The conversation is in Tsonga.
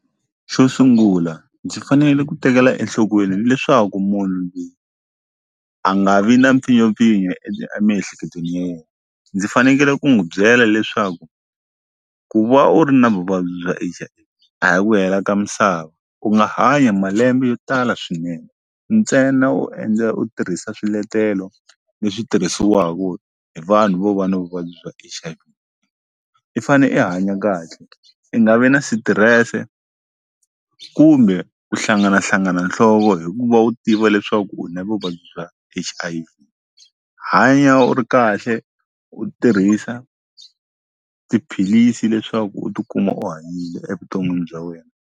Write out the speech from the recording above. Xo sungula ndzi fanele ku tekela enhlokweni leswaku munhu loyi a nga vi na mpfinyopfinyo emiehleketweni ya yena ndzi fanekele ku n'wi byela leswaku ku va u ri na vuvabyi bya H_I a hi ku hela ka misava ku nga hanya malembe yo tala swinene ntsena wo endle u tirhisa swiletelo leswi tirhisiwaka hi vanhu vo va na vuvabyi bya H_I_V i fane i hanya kahle i nga vi na sitirese kumbe ku hlanganahlangana nhloko hikuva u tiva leswaku u na vuvabyi bya H_I_V hanya u ri kahle u tirhisa tiphilisi leswaku u tikuma u hanyile evuton'wini bya wena.